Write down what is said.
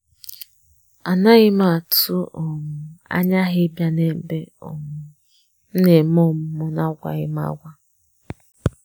A naghịm atụ um anya ha ịbịa na ebe um m na-eme ọmụmụ na agwaghịm agwa